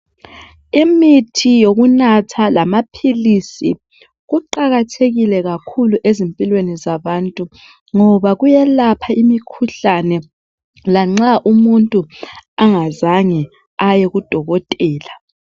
imiti yokunatha lamaphilisi kuqakathekile kakhulu ezimpilweni zabantu ngoba kuyalapha imikhuhlane lanxa umuntu angazange aye ku dokotela